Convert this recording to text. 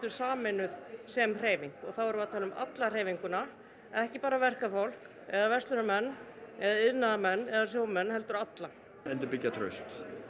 sameinuð sem hreyfing og þá erum við að tala um alla hreyfinguna ekki bara verkafólk eða verslunarmenn eða iðnaðarmenn eða sjómen heldur alla endurbyggja traust